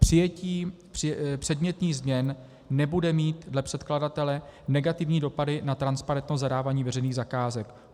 Přijetí předmětných změn nebude mít dle předkladatele negativní dopady na transparentnost zadávání veřejných zakázek.